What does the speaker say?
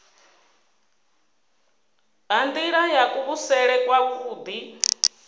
ha nila ya kuvhusele kwavhui